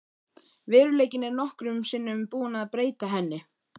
Veruleikinn er nokkrum sinnum búinn að breyta henni.